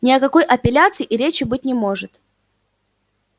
ни о какой апелляции и речи быть не может